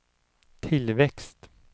tillväxt